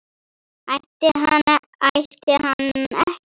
Ætti hann ætti hann ekki?